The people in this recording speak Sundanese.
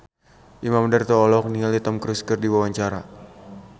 Imam Darto olohok ningali Tom Cruise keur diwawancara